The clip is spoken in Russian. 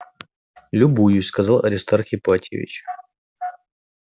любуюсь сказал аристарх ипатьевич